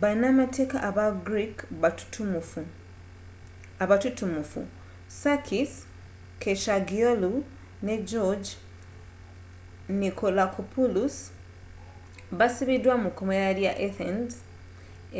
banamateeeka aba greek abatutumufu sakis kechagioglou ne george nikolakopoulos baasibiddwa mu komera lya athens